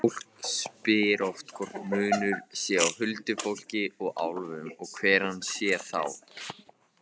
Fólk spyr oft hvort munur sé á huldufólki og álfum og hver hann sé þá.